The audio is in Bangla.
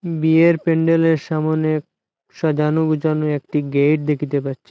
বিয়ের প্যান্ডেলের সামোনে সাজানো গুছানো একটি গেইট দেখিতে পাচ্ছি।